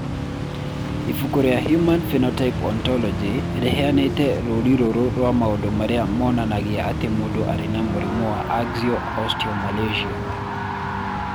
Ibuku rĩa Human Phenotype Ontology rĩheanĩte rũũri rũrũ rwa maũndũ marĩa monanagia atĩ mũndũ arĩ na mũrimũ wa Axial osteomalacia.